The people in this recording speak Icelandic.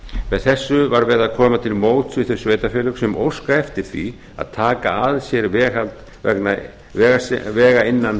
með þessu var verið að koma til móts við þau sveitarfélög sem óska eftir því að taka að sér vegi innan